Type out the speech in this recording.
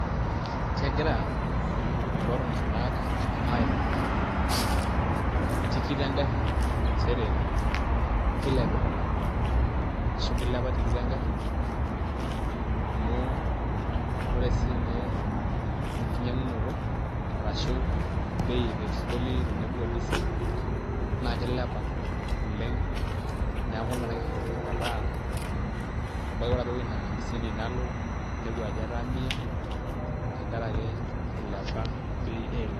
Kegira kulo tung'anak aimaki tikit engarri nchere kilepita ashu kilepa tikit engarri amu ore siinye enkinyiang'unoto arashu bei e petroli tenebo o diesel naa kilepa oleng' neeku ina naishorita metaa ebaiki ore ina amisi nalo ninepu ajo etaa mia tenkaraki ilepa bei eilata.